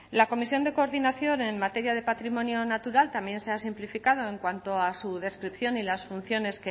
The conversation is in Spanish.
la comisión de coordinación en materia de patrimonio natural también se ha simplificado en cuanto a su descripción y las funciones